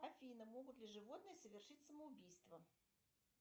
афина могут ли животные совершить самоубийство